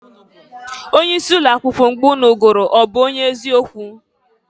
Onye isi ụlọ akwụkwọ mgbe ụnụ gụrụ ọ bụ onye ezi okwu?